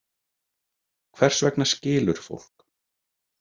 Hvers vegna skilur fólk?